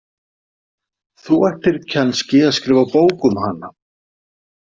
Þú ættir kannski að skrifa bók um hana.